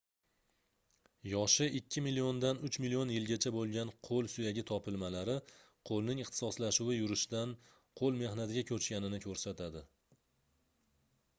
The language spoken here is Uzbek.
yoshi ikki milliondan uch million yilgacha boʻlgan qoʻl suyagi topilmalari qoʻlning ixtisoslashuvi yurishdan qoʻl mehnatiga koʻchganini koʻrsatadi